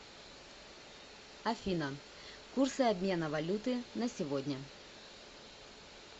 афина курсы обмена валюты на сегодня